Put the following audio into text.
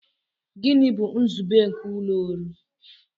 Gịnị bụ nzube nke ụlọ ọrụ?